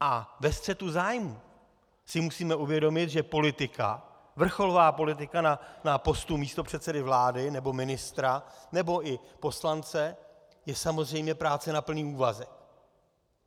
A ve střetu zájmů si musíme uvědomit, že politika, vrcholová politika na postu místopředsedy vlády nebo ministra nebo i poslance, je samozřejmě práce na plný úvazek.